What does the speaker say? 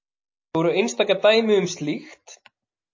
Þó eru einstaka dæmi um slíkt.